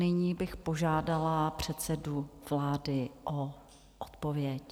Nyní bych požádala předsedu vlády o odpověď.